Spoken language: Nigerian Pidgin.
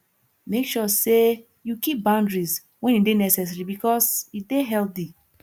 make sure say you keep boundaries when e de necessary because e de healthy